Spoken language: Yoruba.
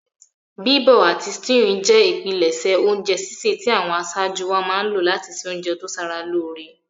Bíbọ̀ àti stewing je ìpinlẹ̀sẹ̀ ounje sísẹ̀ ti àwon asájú wáa má n lo láti se ounje to sara lóre